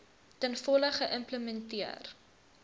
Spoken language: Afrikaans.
ten volle geïmplementeer